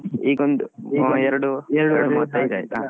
ಈಗೊಂದು ಎರಡು ಮೂವತ್ತೈದು ಆಯ್ತಾ.